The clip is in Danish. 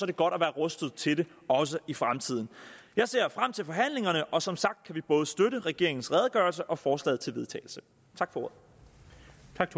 det godt at være rustet til det også i fremtiden jeg ser frem til forhandlingerne og som sagt kan vi både støtte regeringens redegørelse og forslaget til vedtagelse tak for